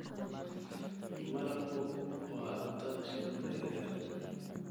Malabku waa cuntada shinnida yaryar.